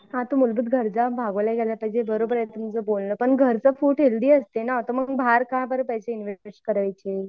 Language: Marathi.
हां तो मूलभूत गरज भागवल्या गेल्या पाहिजेत बरोबर आहे तुमचं बोलणं पण घरचं फूड हेल्थी असते ना मग बाहेर का बरं पैसे इन्व्हेस्ट करायचे?